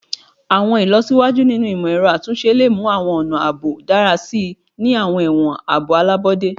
Awọn ilọsiwaju ninu imọ-ẹrọ atunṣe le mu awọn ọna aabo dara si ni awọn ẹwọn aabo alabọde